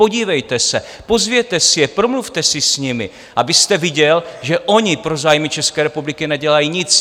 Podívejte se, pozvěte si je, promluvte si s nimi, abyste viděl, že oni pro zájmy České republiky nedělají nic!